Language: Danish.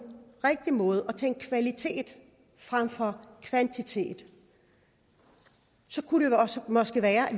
rigtige måde og tænkte kvalitet frem for kvantitet så kunne det måske være at